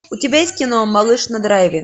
у тебя есть кино малыш на драйве